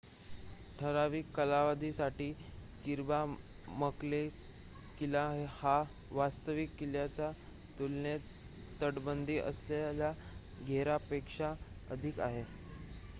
ठराविक कालावधीसाठी Kirby Muxloe किल्ला हा वास्तविक किल्ल्याच्या तुलनेत तटबंदी असलेल्या घरापेक्षा अधिक आहे